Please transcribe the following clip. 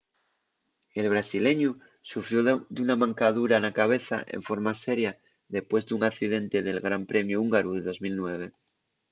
el brasileñu sufrió d’una mancadura na cabeza enforma seria depués d’un accidente nel gran premiu húngaru de 2009